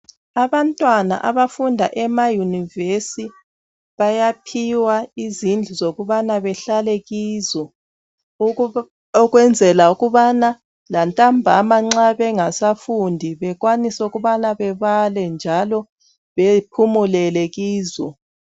Abantwana abafunda emayunivesi bayanphiwa izindlu zokubana behlale kizo. Ukunzela ukubana lantambama nxa bengasafundi bekwanise ukubana bebale njalo bephumulele kizo.